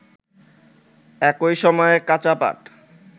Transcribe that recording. একই সময়ে কাঁচা পাট